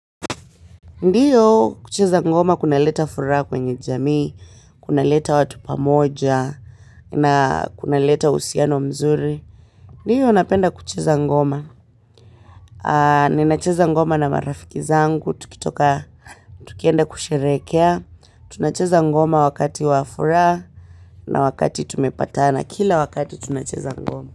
Ndiyo kucheza ngoma kunaleta furaha kwenye jamii, kunaleta watu pamoja, na kunaleta uhusiano mzuri. Ndiyo napenda kucheza ngoma. Ninacheza ngoma na marafiki zangu, tukitoka tukienda kusherehekea. Tunacheza ngoma wakati wa furaha na wakati tumepatana kila wakati tunacheza ngoma.